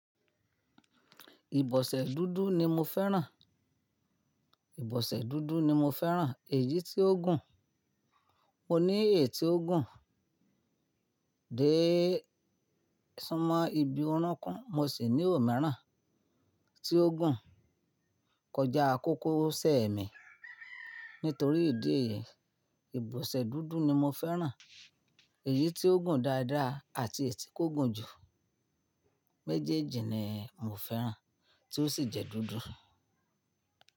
Ìbọ̀sẹ̀ dúdú ni mo fẹ́ràn. Ìbọ̀sẹ̀ dúdú ni mo fẹ́ràn, èyí tí ó gùn. Mo ní èyí tó gùn dé súnmọ́ ibi orúnkún mo sì ní òmíràn tí ó gùn kọjá kókósẹ̀ mi. Nítorí ìdí èyí, ìbọ̀sẹ̀ dúdú ni mo fẹ́ràn. Èyí tí ó gùn dáadáa àti èyí tí kò gùn jù méjèèjì ni mo fẹ́ràn tí ó sì jẹ́ dúdú.